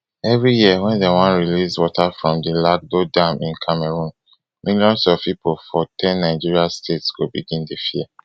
every year wen dem wan release water from di lagdo dam in cameroon millions of pipo for ten nigeria states go begin to fear